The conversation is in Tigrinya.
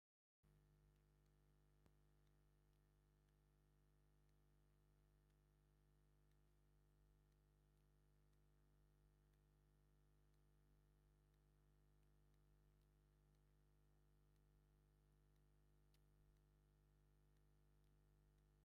ስድራ ስድራ ማለት አብ ሓደ ገዛ ዝነብሩ ከም አቦ፣ አዶ፣ ሓውን ሓፍትን ኮይኖም፤ ፃዕዳ ዙርያ ዝተከደኑ አርባዕተ ስድራ አለው፡፡ እዞም ስድራ አዶ፣ አቦ ነታ ጓል አንስተይቲ ጓሉ ሓቍፉዋን አበ ሕብራዊ ድሕረ ገፅ ጠጠው ኢሎም ይርከቡ፡፡